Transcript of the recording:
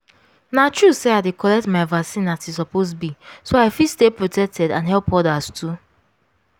na true say i dey collect my vaccine as e suppose be so i fit stay protected and help others too.